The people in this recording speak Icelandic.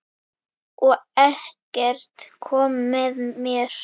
Og Eggert kom með mér.